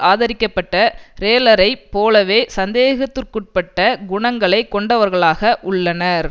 ஆதரிக்கப்பட்ட ரேலரைப் போலவே சந்தேகத்திற்குட்பட்ட குணங்களைக் கொண்டவர்களாக உள்ளனர்